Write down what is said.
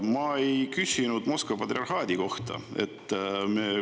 Ma ei küsinud Moskva patriarhaadi kohta.